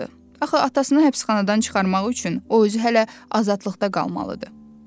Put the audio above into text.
Axı atasını həbsxanadan çıxarmaq üçün o özü hələ azadlıqda qalmalıdır.